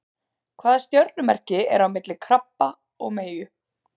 Hvaða stjörnumerki er á milli krabba og meyju?